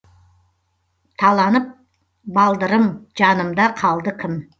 таланып балдырым жанымда қалды кім